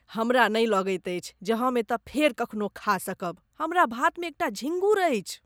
हमरा नहि लगैत अछि जे हम एतऽ फेर कखनो खा सकब, हमर भातमे एकटा झींगुर अछि।